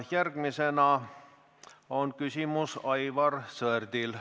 Järgmine küsimus on Aivar Sõerdil.